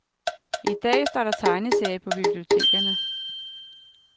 I dag står der tegneserier på bibliotekerne.